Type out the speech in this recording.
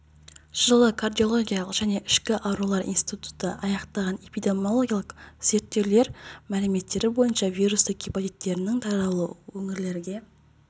жылы кардиология және ішкі аурулар институты аяқтаған эпидемиологиялық зерттеулер мәліметтері бойынша және вирусты гепатиттерінің таралуы өңірлерге